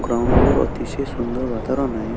Ground वर अतिशय सुंदर वातावरण आहे.